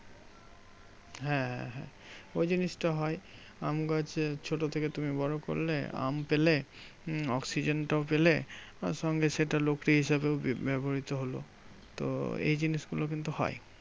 হ্যাঁ হ্যাঁ ওই জিনিসটা হয়। আমগাছ ছোট থেকে তুমি বড় করলে। আম পেলে হম oxygen টাও পেলে। তারসঙ্গে সেটা হিসাবে ব্যবহৃত হলো। তো এই জিনিসগুলো কিন্তু হয়।